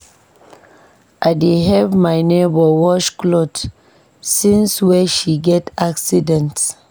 I dey help my nebor wash cloth since wey she get accident.